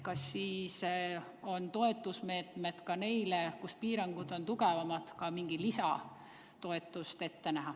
Nii on neil küsimus, kas seal, kus piirangud on tugevamad, on ka mingi lisatoetus ette nähtud.